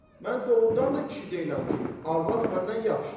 Mən doğrudan da kişi deyiləm ki, arvad məndən yaxşıdır.